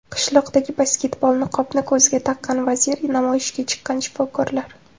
Qishloqdagi basketbol, niqobni ko‘ziga taqqan vazir, namoyishga chiqqan shifokorlar.